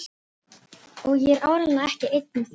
Og ég er áreiðanlega ekki einn um það.